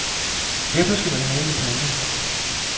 Derfor skal man have en printer.